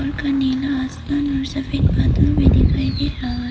नीला आसमान में सफेद बादल भी दिखाई दे रहा है।